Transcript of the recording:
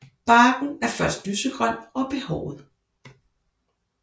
Barken er først lysegrøn og behåret